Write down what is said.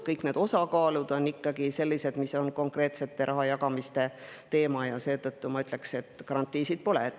Kõik need osakaalud on ikkagi sellised, mis on konkreetse rahajagamise kohta, ja seetõttu ma ütleksin, et garantiisid pole.